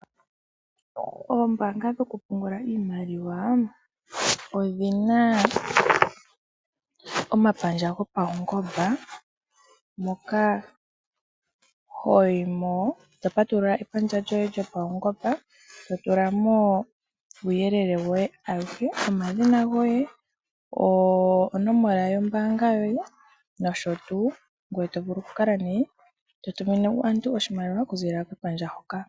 Oombaanga dhoku pungula iimaliwa odhina omapandja gopaungomba moka ho yi mo to patulula epandja lyoye lyopaungomba, to tula mo uuyelele woye awuhe, omadhina goye, onomola yombaanga yoye nosho tuu, ngoye to vulu oku kala nee to tumine aantu oshimaliwa oku ziilila kepandja hoka.